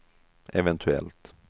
eventuellt